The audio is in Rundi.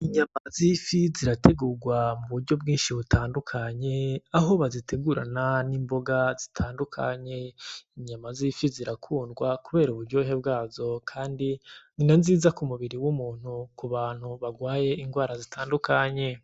Inyama zifi zirategugwa mu buryo bginshi butandukanye aho bazitegurana N’imboga zitandukanye inyama zifi zirakundwa kubera uburyohe bgazo kandi ni nanziza ku mubiri w’umuntu ku bantu bagwaye indwara zitandukanye.